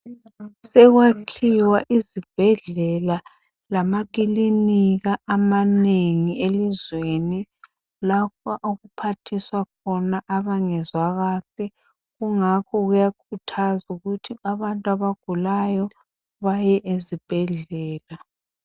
Sekwakhiwa izibhedlela lamakilinika amanengi elizweni. Lapho okuphathiswa khona abangezwa kuhle, kungakho kuyakhuthazwa ukuthi abantu abagulayo baye ezibhadlela.